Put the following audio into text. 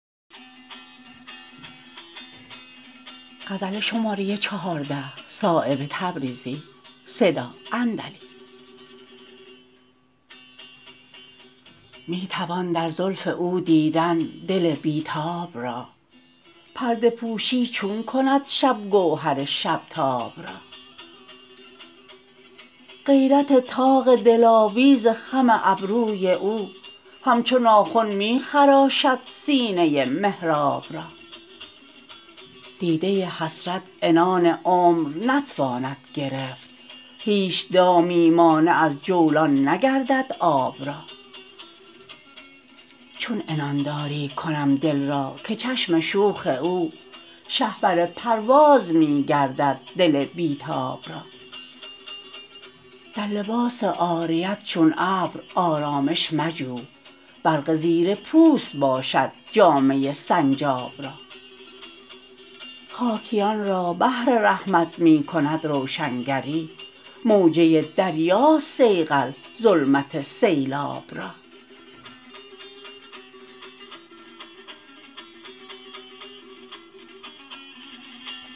می توان در زلف او دیدن دل بی تاب را پرده پوشی چون کند شب گوهر شب تاب را غیرت طاق دلاویز خم ابروی او همچو ناخن می خراشد سینه محراب را دیده حسرت عنان عمر نتواند گرفت هیچ دامی مانع از جولان نگردد آب را چون عنان داری کنم دل را که چشم شوخ او شهپر پرواز می گردد دل بی تاب را در لباس عاریت چون ابر آرامش مجو برق زیر پوست باشد جامه سنجاب را خاکیان را بحر رحمت می کند روشنگری موجه دریاست صیقل ظلمت سیلاب را